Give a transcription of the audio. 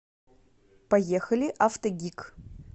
поехали автогик